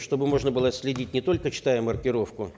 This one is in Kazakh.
чтобы можно было отследить не только читая маркировку